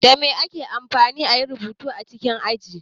Dame ake amfani ayi rubutu a cikin ofis?